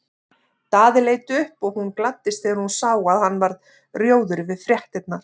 Daði leit upp og hún gladdist þegar hún sá að hann varð rjóður við fréttirnar.